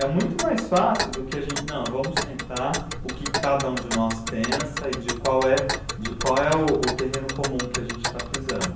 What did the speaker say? É muito mais fácil do que a gen, não, vamos sentar, o que cada um de nós pensa e de qual é de qual é o o terreno comum que a gente está pisando.